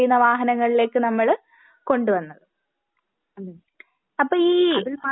വാഹനങ്ങളിലേക്ക് നമ്മള് കൊണ്ട് വന്നത്. അപ്പോ ഈ